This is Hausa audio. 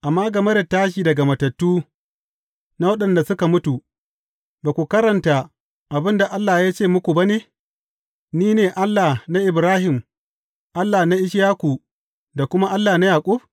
Amma game da tashi daga matattu na waɗanda suka mutu ba ku karanta abin da Allah ya ce muku ba ne, Ni ne Allah na Ibrahim, Allah na Ishaku da kuma Allah na Yaƙub’?